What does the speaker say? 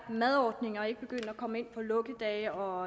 jo lukkedage og